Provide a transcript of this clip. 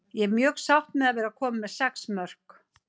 Ég er mjög sátt með að vera komin með sex mörk.